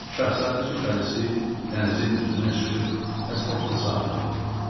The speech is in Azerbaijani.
Şahzadə su pərisi dənizin üzünə çıxıb həsrətlə sahilə baxırdı.